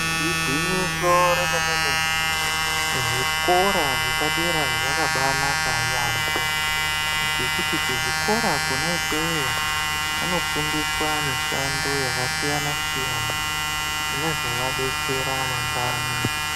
Igwinyiso remene mene zvikora zvepadera zvakabanaka kwemene ngekuti kuzvikora kwona ikweyo vanofundiswa mishando yakasiyana siyana inozovadetsera mangwani.